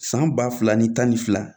San ba fila ni tan ni fila